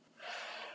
Já, það á hún.